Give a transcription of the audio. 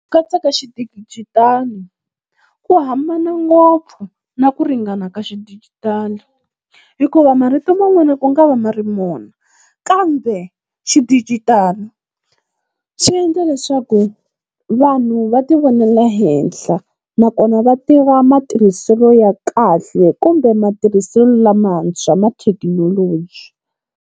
Katsa ka xidigitali ku hambana ngopfu na ku ringana ka xidijitali, hikuva marito man'wana ku nga va ma ri mona, kambe xidijitali swi endla leswaku vanhu va tivonela henhla, nakona va tiva matirhiselo ya kahle kumbe matirhiselo lamantshwa ma thekinoloji.